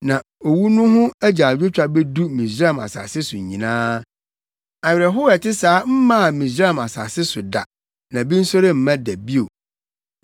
Na owu no ho agyaadwotwa bedu Misraim asase so nyinaa. Awerɛhow a ɛte saa mmaa Misraim asase so da, na bi nso remma da bio.